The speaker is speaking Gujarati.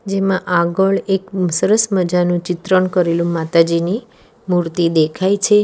એમાં આગળ એક સરસ મજાનું ચિત્રણ કરેલું માતાજીની મૂર્તિ દેખાય છે.